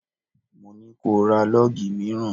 Mo ní ko ra lọ́gì mìíràn!